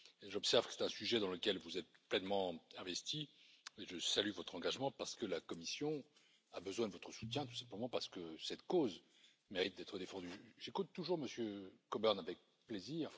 J'observe que c'est un sujet dans lequel vous êtes pleinement investis et je salue votre engagement, parce que la Commission a besoin de votre soutien, tout simplement parce que cette cause mérite d'être défendue. J'écoute toujours M. Coburn avec plaisir.